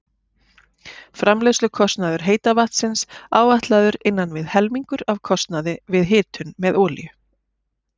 Framleiðslukostnaður heita vatnsins áætlaður innan við helmingur af kostnaði við hitun með olíu.